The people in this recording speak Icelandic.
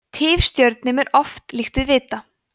tifstjörnum er oft líkt við vita